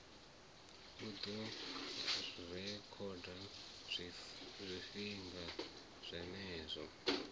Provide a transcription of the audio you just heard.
u ḓo rekhoda zwifhinga zwenezwo